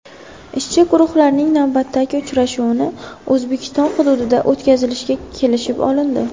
Ishchi guruhlarning navbatdagi uchrashuvini O‘zbekiston hududida o‘tkazishga kelishib olindi.